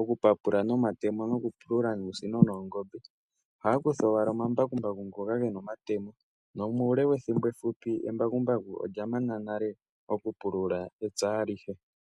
okupapula nomatemo nokupulula nuusino noongombe. Ohaya kutha owala omambakumbaku ngoka ge na omatemo nomuule wethimbo efupi embakumbaku olya mana nale okupulula epya alihe.